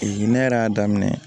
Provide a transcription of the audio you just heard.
ne yɛrɛ y'a daminɛ